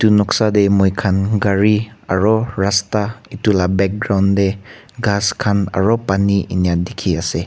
Etu noksa dae moikhan gari aro rasta etu la background dae ghas khan aro pani enya dekhi ase.